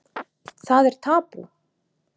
Það er tabú.